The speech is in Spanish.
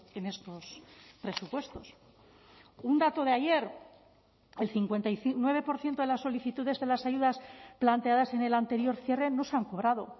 en estos presupuestos un dato de ayer el cincuenta y nueve por ciento de las solicitudes de las ayudas planteadas en el anterior cierre no se han cobrado